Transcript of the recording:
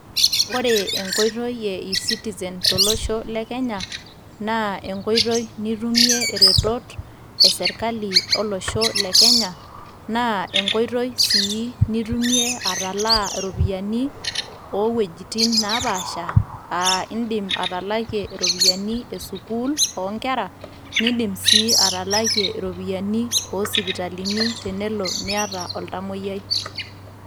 Ore enkoitoi e e-citizen tolosho le kenya, naa enkoitoi nitumie iretot esirkali olosho le Kenya. Naa enkoitoi si nitumie atalaa iropiyiani, owuejiting' napaasha, a iidim atalakie iropiyiani esukuul onkera, niidim si atalakie iropiyiani o sipitalini tenelo niata oltamoyiai.